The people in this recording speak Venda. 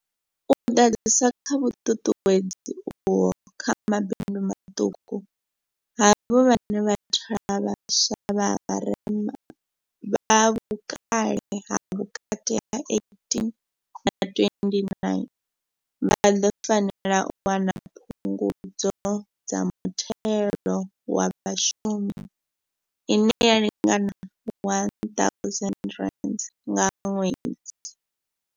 U ḓadzisa kha vhuṱuṱuwedzi uho kha mabindu maṱuku, havho vhane vha thola vha swa vha vharema, vha vhukale ha vhukati ha 18 na 29, vha ḓo fanela u wana Phungudzo kha Muthelo wa Vhashumi ine ya lingana R1 000 nga ṅwedzi.